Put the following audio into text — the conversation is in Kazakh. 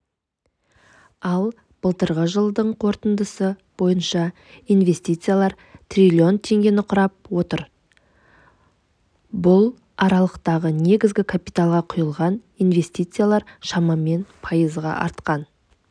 ал былтырғы жылдың қорытындысы бойынша инвестициялар трлн теңгені құрап отыр бұл аралықтағы негізгі капиталға құйылған инвестициялар шамамен пайызға артқан